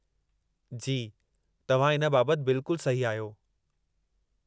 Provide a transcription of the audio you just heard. जी, तव्हां इन बाबतु बिल्कुल सही आहियो।